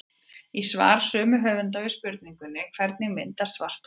Í svari sömu höfunda við spurningunni Hvernig myndast svarthol í geimnum?